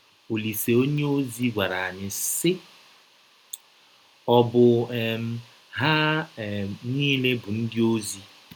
Ọlise onyeọzi gwara anyị, sị: “ Ọ̀ bụ um ha um niile bụ ndịozi?